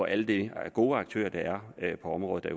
alle de gode aktører der er på området